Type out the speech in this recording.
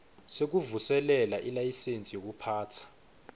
sekuvuselela ilayisensi yekuphatsa